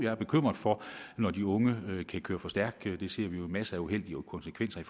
er bekymret når de unge kan køre for stærkt det ser vi jo masser af uheldige konsekvenser